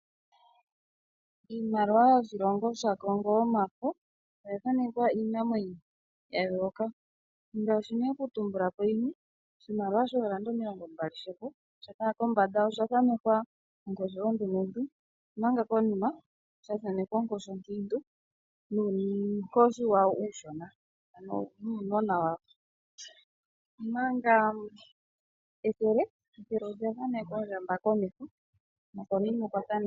Iimaliwa yoshilongo shaCongo yomafo oya thanekwa iinamwenyo ya yooloka ngaashi nee okutumbula po yimwe; oshimaliwa shoofrancise omilongombali komeho osha thanekwa onkoshi ondumentu, omanga konima sha thanekwa onkoshi onkiintu nuunkoshi washo uushona, ano nuunimwena wayo, omanga ethele olya thanekwa ondjamba komeho.